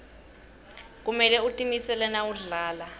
kumele utimisele nawudlala